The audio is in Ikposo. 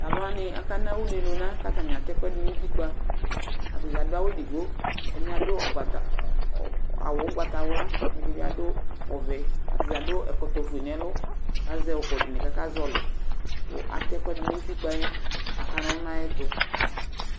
Taluwani akana uné luna ka atani atɛ ɛkuɛdi nu utikpa, ati adu awu édigbo, ɛdiini adubawu ugbata wlaa, édibi adu ɔʋɛ Atadza adu ɛkɔtɔ ofué nɛ ɛlu, ka zɛ ukudini ka akazɔli ka atɛ ɛkuɛdi nu utikpaɛ ka aka nɔlu nu ayuti